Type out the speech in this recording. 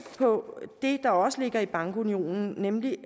på det der også ligger i bankunionen nemlig